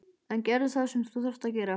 En gerðu það sem þú þarft að gera.